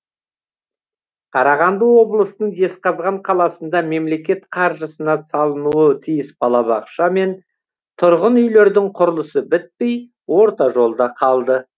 қарағанды облысының жезқазған қаласында мемлекет қаржысына салынуы тиіс балабақша мен тұрғын үйлердің құрылысы бітпей орта жолда қалды